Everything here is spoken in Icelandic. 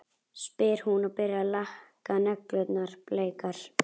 spyr hún og byrjar að lakka neglurnar bleikar.